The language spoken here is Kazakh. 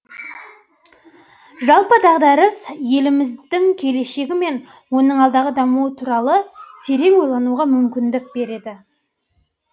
жалпы дағдарыс еліміздің келешегі мен оның алдағы дамуы туралы терең ойлануға мүмкіндік береді